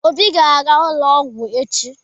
Obi ga-aga ụlọ ọgwụ echi.